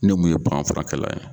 Ne mun ye baganfarakɛla ye